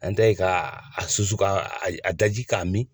An ta ye ka susu ,ka a daji ka mi.